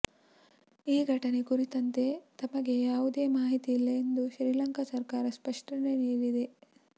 ಈ ಘಟನೆ ಕುರಿತಂತೆ ತಮಗೆ ಯಾವುದೇ ಮಾಹಿತಿಯಿಲ್ಲ ಎಂದು ಶ್ರೀಲಂಕಾ ಸರಕಾರ ಸ್ಪಷ್ಟನೆ ನೀಡಿದೆ